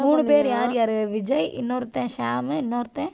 மூணு பேரு யார்? யார்? விஜய். இன்னொருத்தன் ஷாமு, இன்னொருத்தன்?